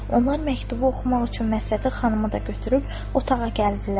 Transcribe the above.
Onlar məktubu oxumaq üçün Məhsəti xanımı da götürüb otağa gəldilər.